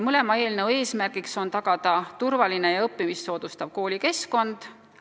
Mõlema eelnõu eesmärk on tagada turvaline ja õppimist soodustav koolikeskkond.